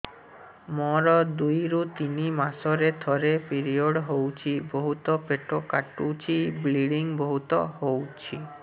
ମୋର ଦୁଇରୁ ତିନି ମାସରେ ଥରେ ପିରିଅଡ଼ ହଉଛି ବହୁତ ପେଟ କାଟୁଛି ବ୍ଲିଡ଼ିଙ୍ଗ ବହୁତ ହଉଛି